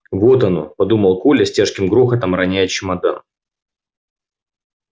вот оно подумал коля с тяжким грохотом роняя чемодан